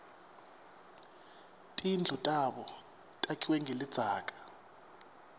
tindlu tabo takhiwe ngelidzaka